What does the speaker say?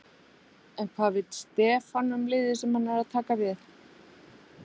En hvað veit Stefán um liðið sem hann er að taka við?